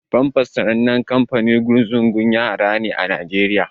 Pampers sanannen kanfanin ƙunzugun yara ne a Naijeriya.